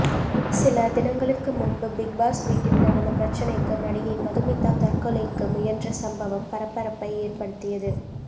சில தினங்களுக்கு முன்பு பிக்பாஸ் வீட்டில் நடந்த பிரச்சனைக்கு நடிகை மதுமிதா தற்கொலைக்கு முயன்ற சம்பவம் பரபரப்பை ஏற்படுத்தியது